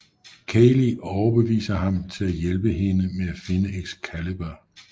Kayley overbeviser ham til at hjælpe hende med at finde Excalibur